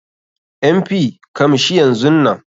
MP,kamshi yanzun Nan.